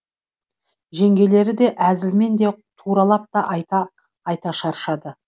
жеңгелері де әзілмен де туралап та айта айта шаршады